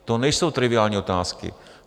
To nejsou triviální otázky.